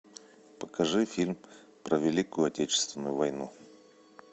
покажи фильм про великую отечественную войну